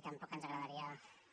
i tampoc ens agradaria